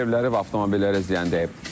Yaşayış evləri və avtomobillərə ziyan dəyib.